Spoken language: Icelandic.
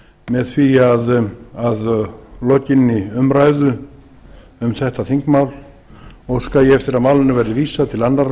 með því að óska þess að að lokinni umræðu um þetta þingmál að málinu verði vísað til annarrar